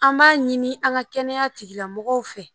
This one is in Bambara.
An b'a ɲini an ka kɛnɛya tigilamɔgɔw fɛ